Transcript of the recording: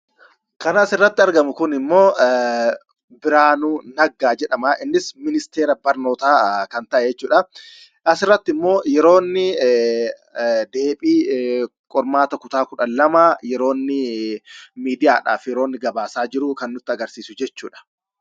Kana asirratti argamu kunimmo Biraanuu Naggaa jedhama. innis ministeera barnoota kan ta'e jechuudha. airrattimmo yeroo inni ,deebii qormaata kutaa 12 , yeroo inni miidia'aadhaf yeroonni gabaasa jiru, kan nutti agarsiisuu jechuudha.